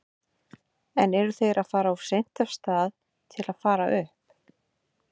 En eru þeir að fara of seint af stað til að fara upp?